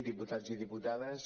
diputats i diputades